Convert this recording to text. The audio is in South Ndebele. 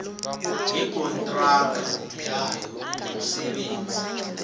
yikontraga yayo yomsebenzi